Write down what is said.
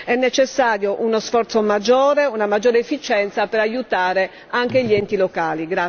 È necessario uno sforzo maggiore e una maggiore efficienza per aiutare anche gli enti locali.